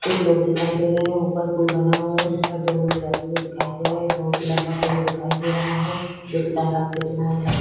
कुछ लोग दिखाई दे रहे है ऊपर पूल बना है जिसपर दो लोग जाते हुए दिखाई दे रहे है बहुत ही लम्बा पेड़ दिखाई दे रहा है जो की तालाब के किनारे है।